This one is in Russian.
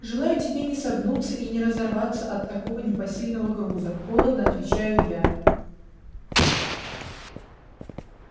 желаю тебе не согнуться и не разорваться от такого непосильного груза холодно отвечаю я